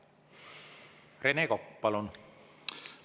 Rene Kokk, palun!